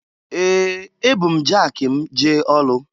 Ee! Ebu m jaki m jee ọlụ.